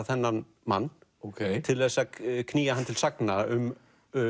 þennan mann til þess að knýja hann til sagna um